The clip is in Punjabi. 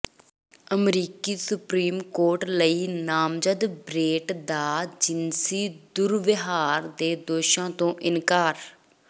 ਅਮਰੀਕੀ ਸੁਪਰੀਮ ਕੋਰਟ ਲਈ ਨਾਮਜ਼ਦ ਬ੍ਰੇਟ ਦਾ ਜਿਨਸੀ ਦੁਰਵਿਹਾਰ ਦੇ ਦੋਸ਼ਾਂ ਤੋਂ ਇਨਕਾਰ